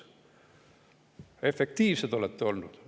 Efektiivsed olete olnud!